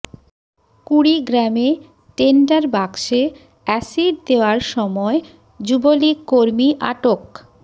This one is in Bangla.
কুড়িগ্রামে টেন্ডার বাক্সে এসিড দেওয়ার সময় যুবলীগ কর্মী আটক